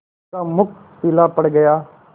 उसका मुख पीला पड़ गया